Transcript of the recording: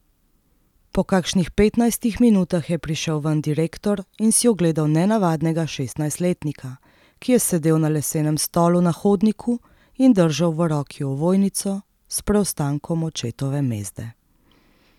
Po kakšnih petnajstih minutah je prišel ven direktor in si ogledal nenavadnega šestnajstletnika, ki je sedel na lesenem stolu na hodniku in držal v roki ovojnico s preostankom očetove mezde.